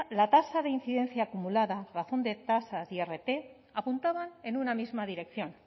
la tasa de incidencia acumulada razón de tasas irt apuntaban en una misma dirección